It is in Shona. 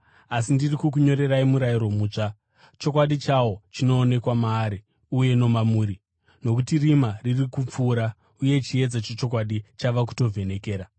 Asi ndiri kukunyorerai murayiro mutsva; chokwadi chawo chinoonekwa maari uye nomamuri, nokuti rima riri kupfuura uye chiedza chechokwadi chava kutovhenekera.